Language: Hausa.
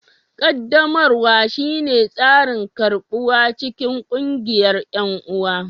qaddamarwa shine tsarin karɓuwa cikin ƙungiyar 'yan'uwa